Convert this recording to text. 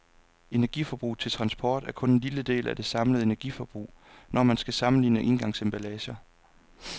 Energiforbruget til transport er kun en lille del af det samlede energiforbrug, når man skal sammenligne engangsemballager.